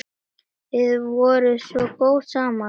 Þið voruð svo góð saman.